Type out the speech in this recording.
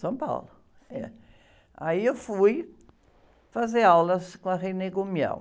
São Paulo, é. Aí eu fui fazer aulas com a